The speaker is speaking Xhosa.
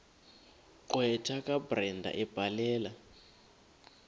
gqwetha kabrenda ebhalela